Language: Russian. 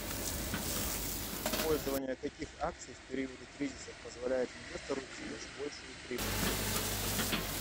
использование каких акций в периоды кризисов позволяет инвестору извлечь большую прибыль